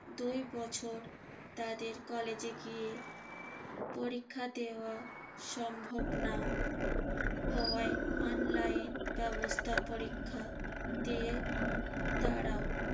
দুই বছর তাদের কলেজে গিয়ে পরীক্ষা দেওয়া সম্ভব না হওয়ায় online ব্যবস্থায় পরীক্ষা দিয়ে তারাও